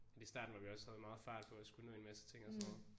Fordi starten var vi også havde meget fart på og skulle nå en masse ting og sådan noget